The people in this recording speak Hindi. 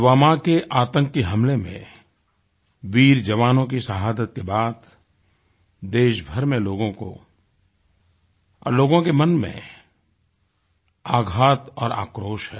पुलवामा के आतंकी हमले में वीर जवानों की शहादत के बाद देशभर में लोगों को और लोगों के मन में आघात और आक्रोश है